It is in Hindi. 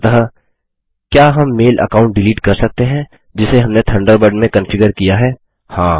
अंततः क्या हम मेल अकाउंट डिलीट कर सकते हैं जिसे हमने थंडरबर्ड में कन्फिगर किया है160